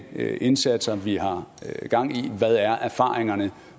indsatser vi har gang i hvad erfaringerne er